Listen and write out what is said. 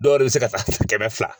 Dɔw re bɛ se ka taa kɛmɛ fila